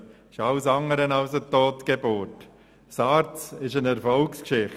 Die SARZ ist vielmehr eine Erfolgsgeschichte.